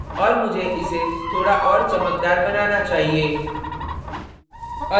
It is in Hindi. और मुझे इसे थोड़ा और चमकदार बनाना चाहिए